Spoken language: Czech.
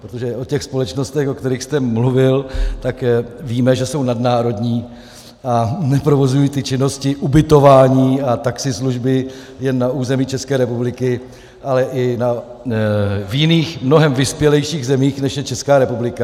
Protože o těch společnostech, o kterých jste mluvil, tak víme, že jsou nadnárodní a neprovozují ty činnosti ubytování a taxislužby jen na území České republiky, ale i v jiných, mnohem vyspělejších zemích, než je Česká republika.